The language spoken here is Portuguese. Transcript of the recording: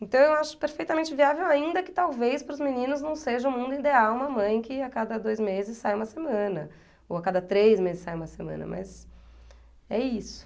Então eu acho perfeitamente viável, ainda que talvez para os meninos não seja o mundo ideal uma mãe que a cada dois meses sai uma semana, ou a cada três meses sai uma semana, mas é isso.